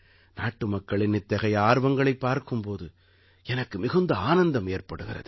நாட்டுமக்களின் இத்தகைய ஆர்வங்களைப் பார்க்கும் போது எனக்கு மிகுந்த ஆனந்தம் ஏற்படுகிறது